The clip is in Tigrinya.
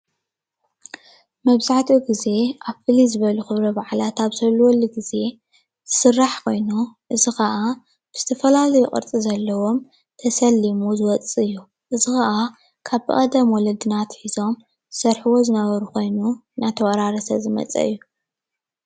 መብዛሕቱ ግዘ ኣብ ፍልይ ዝበሉ ክብረ በዓላት ኣብ ዝህልወሉ ግዘ ዝስራሕ ኮይኑ። ብዝተፈላለዩ ቅርፂ ዘለዎም ተሸሊሙ ዝወፅእ እዩ እዚ ከኣ ካብ ብቀደም ወለድና ኣትሒዞም ዝሰርሕዎ ዝነበሩ ኮይኑ እናተወራረሰ ዝመፀ እዩ።